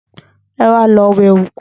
Ẹwà lọ wẹ òkú